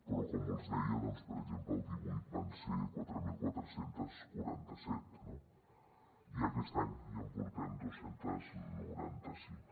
però com els deia per exemple el dos mil divuit van ser quatre mil quatre cents i quaranta set no i aquest any ja en portem dos cents i noranta cinc